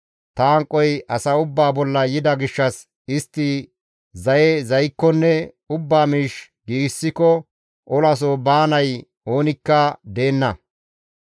Ta hanqoy asa ubbaa bolla yida gishshas istti zaye zaykkonne ubbaa miish giigsikko olaso baanay oonikka deenna.